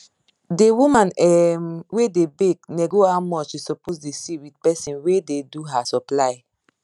d woman um wey da bake nego how much she suppose da see with person wey da do her supply